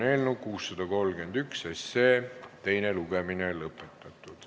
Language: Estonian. Eelnõu 631 teine lugemine on lõpetatud.